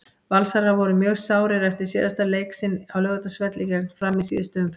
Valsarar voru mjög sárir eftir síðasta leik sinn á Laugardalsvelli gegn Fram í síðustu umferð.